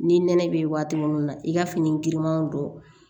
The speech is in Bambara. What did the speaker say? Ni nɛnɛ be waati munnu na i ka fini girimanw don